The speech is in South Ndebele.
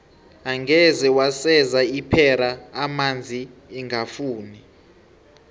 angeze waseza ipera amanzi ingafuni